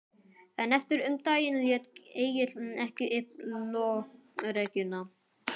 En eftir um daginn lét Egill ekki upp lokrekkjuna.